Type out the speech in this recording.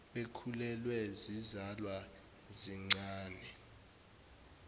bekhulelwe zizalwa zincane